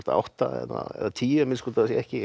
átta eða tíu að minnsta kosti ekki